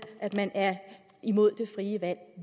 at man er imod det frie valg